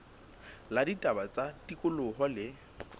la ditaba tsa tikoloho le